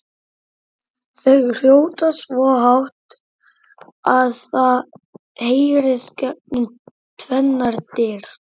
Þau hrjóta svo hátt að það heyrist gegnum tvennar dyr!